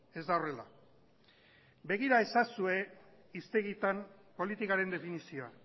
ez da horrela begira ezazue hiztegietan politikaren definizioa